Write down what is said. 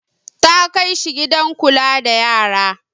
Ta kai shi gidan kula da yara.